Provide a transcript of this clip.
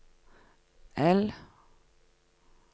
L